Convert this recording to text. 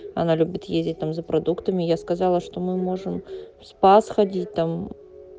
она любит ездить там за продуктами я сказала что мы можем в спас ходить там